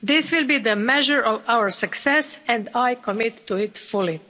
This will be the measure of our success and I commit to it fully.